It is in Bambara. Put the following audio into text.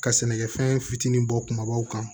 Ka sɛnɛkɛfɛn fitinin bɔ kumabaw kan